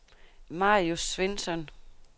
Marius Svensson